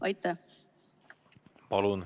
Aitäh!